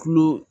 Kulo